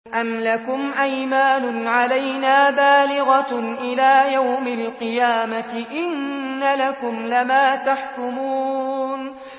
أَمْ لَكُمْ أَيْمَانٌ عَلَيْنَا بَالِغَةٌ إِلَىٰ يَوْمِ الْقِيَامَةِ ۙ إِنَّ لَكُمْ لَمَا تَحْكُمُونَ